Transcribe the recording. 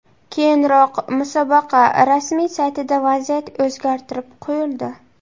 Keyinroq musobaqa rasmiy saytida vaziyat o‘zgartirib qo‘yildi.